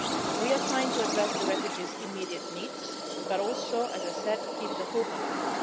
We are trying to address the refugees' immediate needs but also, as I said, to keep hope alive.